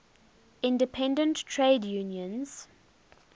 independent trade unions